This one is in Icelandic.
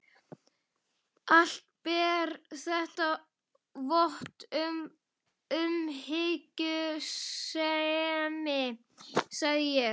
Allt ber þetta vott um umhyggjusemi, sagði ég.